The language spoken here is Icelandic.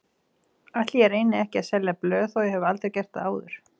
Ætli ég reyni ekki að selja blöð þó ég hafi aldrei gert það áður.